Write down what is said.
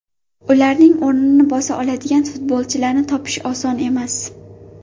Ularning o‘rnini bosa oladigan futbolchilarni topish oson emas.